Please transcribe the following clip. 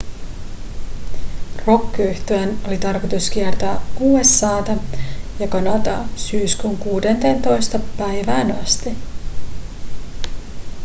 rockyhtyeen oli tarkoitus kiertää usa:ta ja kanadaa syyskuun 16 päivään asti